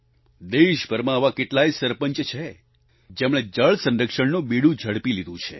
દેશભરમાં આવા કેટલાય સરપંચ છે જેમણે જળ સંરક્ષણનું બીડું ઝડપી લીધું છે